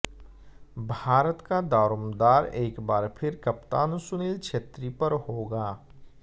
भारत का दारोमदार एक बार फिर कप्तान सुनील छेत्री पर होगा